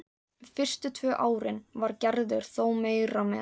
Fyrstu tvö árin var Gerður þó meira með.